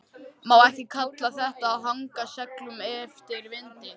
Má ekki kalla þetta að haga seglum eftir vindi?